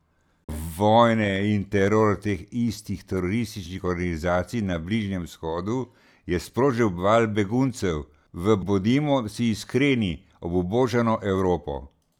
Vojne in teror teh istih terorističnih organizacij na Bližnjem vzhodu je sprožil val beguncev v, bodimo si iskreni, obubožano Evropo.